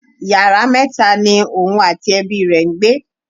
Yàrá mẹta ni òun àti ẹbi rẹ ń gbé.